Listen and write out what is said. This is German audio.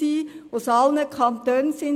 Es nahmen Leute aus allen Kantonen teil.